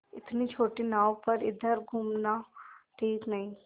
इतनी छोटी नाव पर इधर घूमना ठीक नहीं